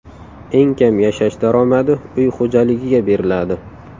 Eng kam yashash daromadi uy xo‘jaligiga beriladi.